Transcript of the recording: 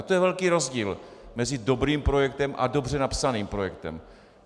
A to je velký rozdíl mezi dobrým projektem a dobře napsaným projektem.